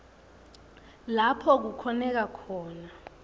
lapho kukhoneka khona